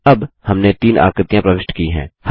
अब हमने तीन आकृतियाँ प्रविष्ट की हैं